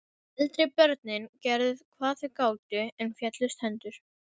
Eldri börnin gerðu hvað þau gátu, en féllust hendur.